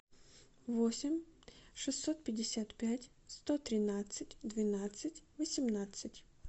восемь шестьсот пятьдесят пять сто тринадцать двенадцать восемнадцать